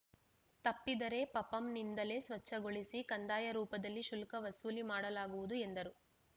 ತಪ್ಪಿದರೆ ಪಪಂನಿಂದಲೇ ಸ್ವಚ್ಛಗೊಳಿಸಿ ಕಂದಾಯ ರೂಪದಲ್ಲಿ ಶುಲ್ಕ ವಸೂಲಿ ಮಾಡಲಾಗುವುದು ಎಂದರು